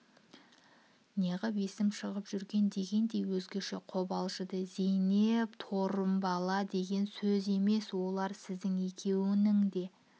неғып есім шығып жүрген дегендей өзгеше қобалжыды зейнеп торымбала деген сөз емес олар сіздің екеуіңнің де